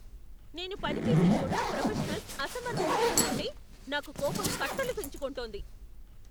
నేను పని చేసే చోట ప్రొఫెషనల్స్ అసమర్థత చూస్తుంటే నాకు కోపం కట్టలుతెంచుకుంటోంది.